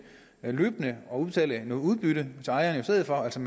løbende at udbetale noget udbytte til ejeren i stedet for altså